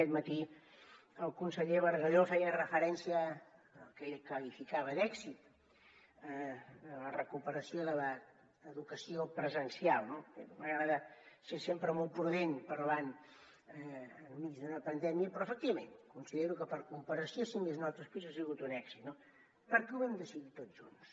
aquest matí el conseller bargalló feia referència al que ell qualificava d’èxit la recuperació de l’educació presencial no a mi m’agrada ser sempre molt prudent parlant enmig d’una pandèmia però efectivament considero que per comparació si més no amb altres països ha sigut un èxit perquè ho vam decidir tots junts